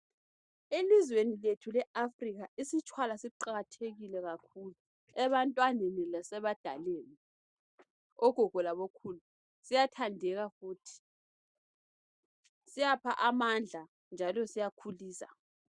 Elizweni lethu leAfrika isitshwala siqakathekile kakhulu ebantwaneni lasebadaleni. Ogogo labokhulu siyathandeka futhi siyapha amandla njalo siyakhulisa.